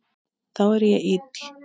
Þá er ég ill.